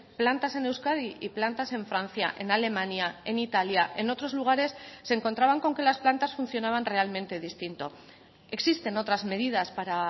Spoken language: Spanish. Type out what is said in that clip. plantas en euskadi y plantas en francia en alemania en italia en otros lugares se encontraban con que las plantas funcionaban realmente distinto existen otras medidas para